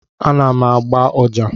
Ana m agba ọjà.